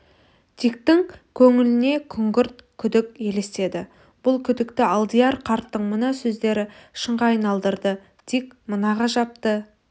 диктің көңіліне күңгірт күдік елестеді бұл күдікті алдияр қарттың мына сөздері шынға айналдырды дик мына ғажапты